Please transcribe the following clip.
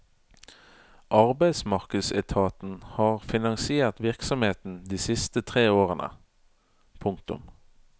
Arbeidsmarkedsetaten har finansiert virksomheten de siste tre årene. punktum